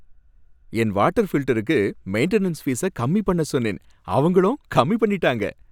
என் water ஃபில்டருக்கு maintenance fees கம்மி பண்ண சொன்னேன், அவங்களும் கம்மி பண்ணிட்டாங்க.